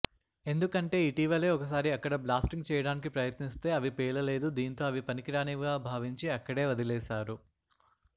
ఎందుకంటే ఇటీవలే ఒకసారి అక్కడ బ్లాస్టింగ్ చేయడానికి ప్రయత్నిస్తే అవి పేలలేదు దీంతో అవి పనికిరానివిగా భావించి అక్కడే వదిలేశారు